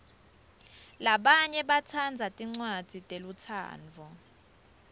labanye batsandza tincwadzi telutsandvo